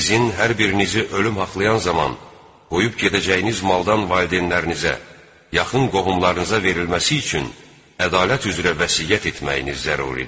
Sizin hər birinizi ölüm haqlayan zaman qoyub gedəcəyiniz maldan valideynlərinizə, yaxın qohumlarınıza verilməsi üçün ədalət üzrə vəsiyyət etməyiniz zəruridir.